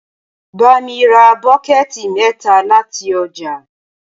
bá mí rà bokiti mẹta láti ọjà